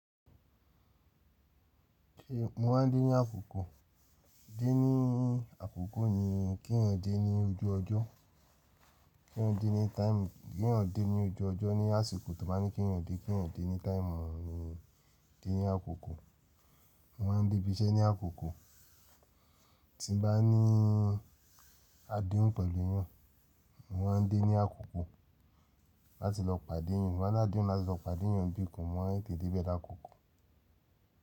Mo máa ń dé ní àkókò. Dé ní àkókò ni kí n dé ní ojú ọjọ́. Kí n dé ní táìmù. Kí èyàn dé ní ojú ọjọ́ ní àsìkò tó bá ní kí n dé. Kí n dé ní táìmù ni dé ní àkókò. Mo máa ń dé ibi iṣẹ́ ní àkókò. Tí bá ní adéhùn pẹ̀lú yàn, mo máa ń dé ní àkókò láti lọ pàdé èyàn. Mo máa ní adéhùn láti lọ pàdé èyàn bí i kàn mo máa ń tètè dé bẹ̀ l'ákokò.